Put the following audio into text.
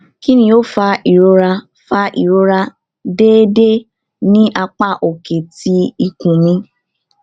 kini o fa irora fa irora deede ni apa oke ti ikun mi